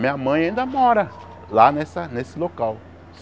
Minha mãe ainda mora lá nessa nesse local.